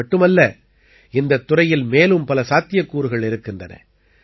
இதுமட்டுமல்ல இந்தத் துறையில் மேலும் பல சாத்தியக்கூறுகள் இருக்கின்றன